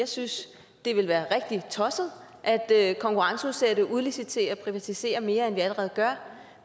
synes det ville være rigtig tosset at at konkurrenceudsætte udlicitere og privatisere mere end vi allerede gør